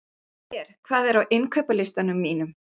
Ver, hvað er á innkaupalistanum mínum?